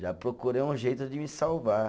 Já procurei um jeito de me salvar.